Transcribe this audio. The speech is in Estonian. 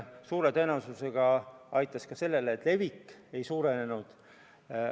Suure tõenäosusega aitas see kaasa sellele, et viiruse levik ei suurenenud.